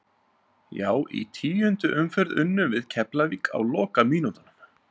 Já í tíundu umferð unnum við Keflavík á lokamínútunum.